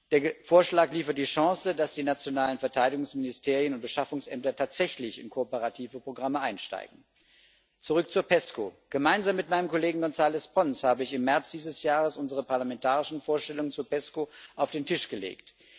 Der Vorschlag bietet die Chance, dass die nationalen Verteidigungsministerien und Beschaffungsämter tatsächlich in kooperative Programme einsteigen. Zurück zur PESCO Gemeinsam mit meinem Kollegen González Pons habe ich im März dieses Jahres unsere parlamentarischen Vorstellungen zu PESCO auf den Tisch gelegt.